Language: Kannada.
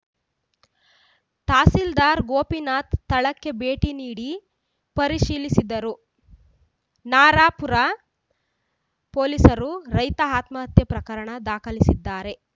ತಹಸೀಲ್ದಾರ್‌ ಗೋಪಿನಾಥ್‌ ಸ್ಥಳಕ್ಕೆ ಭೇಟಿ ನೀಡಿ ಪರಿಶೀಲಿಸಿದರು ನರಾಪುರ ಪೊಲೀಸರು ರೈತ ಆತ್ಮಹತ್ಯೆ ಪ್ರಕರಣ ದಾಖಲಿಸಿದ್ದಾರೆ